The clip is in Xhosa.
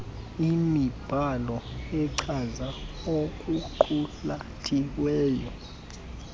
imibhalo echaza okuqulathiweyo